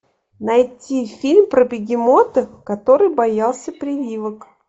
найти фильм про бегемота который боялся прививок